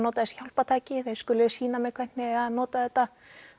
nota þessi hjálpartæki þeir skuli sýna mér hvernig eigi að nota þetta